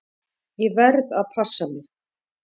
Ég verð að passa mig.